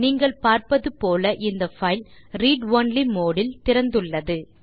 நீங்கள் பார்ப்பது போல இந்த பைல் ரீட் ஒன்லி மோடு இல் திறந்துள்ளது